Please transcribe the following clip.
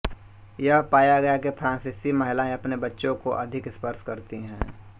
यह पाया गया कि फ्राँसीसी महिलायें अपने बच्चों को अधिक स्पर्श करती हैं